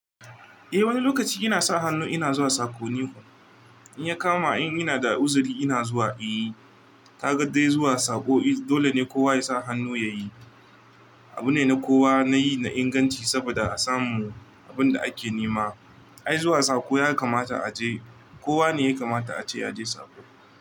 Eh wani lokaci ina sa hannu ina zuwa sako ni. In ya kama in yana da uzuri ina zuwa, eh. Ka ga dai zuwa sako dole ne kowa ya sa hannu ya yi. Abu ne na kowa na yi na inganci saboda a samu abun da ake nema. Ai zuwa sako ya kamata a je, kowa ne ya kamata a je ya je sako.